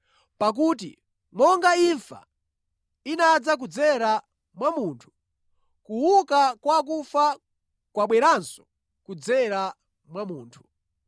Pakuti monga imfa inadza kudzera mwa munthu, kuuka kwa akufa kwabweranso kudzera mwa munthu.